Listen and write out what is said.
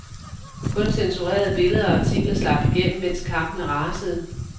Kun censurerede billeder og artikler slap igennem, mens kampene rasede.